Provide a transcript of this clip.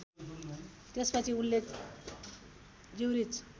त्यसपछि उनले ज्युरिच